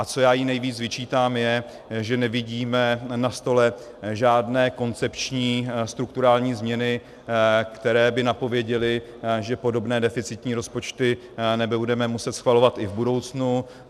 A co já jí nejvíc vyčítám, je, že nevidíme na stole žádné koncepční strukturální změny, které by napověděly, že podobné deficitní rozpočty nebudeme muset schvalovat i v budoucnu.